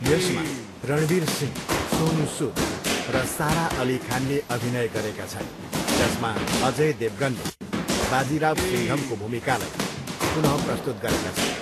यसमा रणवीर सिंह, सोनू सुद र सारा अली खानले अभिनय गरेका छन्, जसमा अजय देवगनले बाजीराव सिङ्घमको भूमिकालाई पुन प्रस्तुत गरेका छन्।